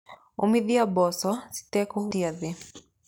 Ũmithia mboco citekũhutia thĩĩ.